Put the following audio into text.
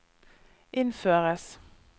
innføres